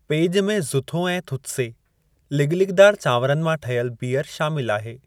पेॼु में ज़ुथो ऐं थुत्से, लिॻिलिॻिदारु चांवरनि मां ठहियल बियरु शामिलु आहे।